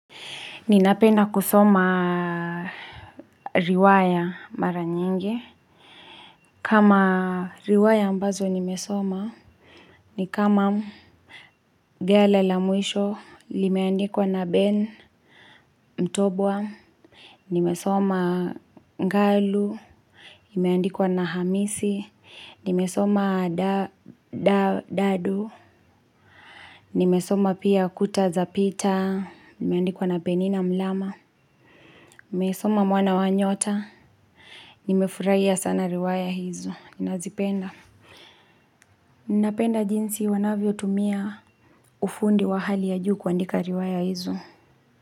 Ninapenda kusoma riwaya mara nyingi. Kama riwaya ambazo nimesoma, ni kama gala la mwisho, limeandikwa na Ben Mtobwa, nimesoma Ngalu, limeandikuwa na Hamisi, nimesoma dadu, nimesoma pia kuta za pita, limeandikwa na Penina Mlama, nimesoma mwana wa nyota, Nimefurahia sana riwaya hizo, ninazipenda Ninapenda jinsi wanavyo tumia ufundi wa hali ya juu kuandika riwaya hizo.